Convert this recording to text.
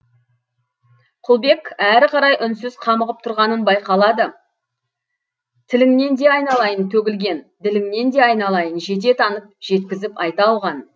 құлбек әрі қарай үнсіз қамығып тұрғаны байқалады тіліңнен де айналайын төгілген діліңнен де айналайын жете танып жеткізіп айта алған